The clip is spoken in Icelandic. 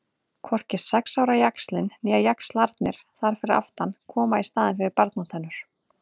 Hvorki sex ára jaxlinn né jaxlarnir þar fyrir aftan koma í staðinn fyrir barnatennur.